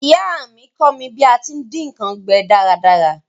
Ìyá mí kọ́ mí bí a ti n dín nkan gbẹ dáradára